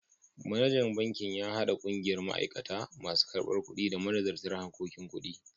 Manajan bankin ya haɗa ƙungiyar ma'aikata, masu karbar kuɗi, da manazarta harkokin kuɗi.